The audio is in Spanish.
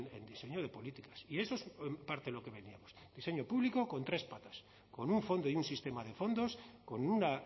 en diseño de políticas y eso es en parte lo que vendíamos diseño público con tres patas con un fondo y un sistema de fondos con una